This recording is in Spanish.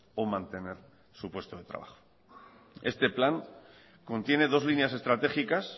o mantener su puesto de trabajo este plan contiene dos líneas estratégicas